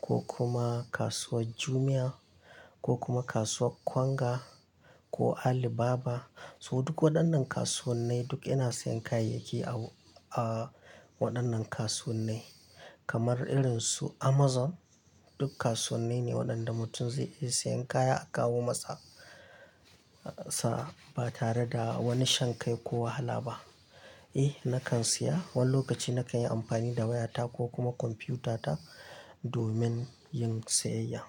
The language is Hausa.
ko kuma kasuwar Jumia, ko kuma kasuwar Konga ko Alibaba. So duk waɗannan kasuwannai duk ina sayan kayayyaki a, a waɗannan kasuwannai kamar irin su Amazon. Duk kasuwannai ne waɗanda mutum zai iya sayan kaya a kawo masa sa ba tare da wani shan kai ko wahala ba. Eh na kan siya, wani lokaci na kan yi amfani da wayata ko kuma kwamfutata domin yin sayayya.